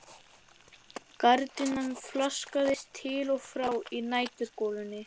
Gardínan flaksaðist til og frá í næturgolunni.